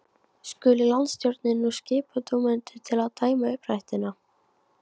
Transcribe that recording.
Skuli landsstjórnin og skipa dómendur til að dæma uppdrættina.